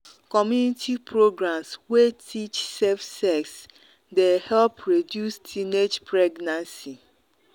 community programs wey teach safe sex dey help reduce teenage pregnancy.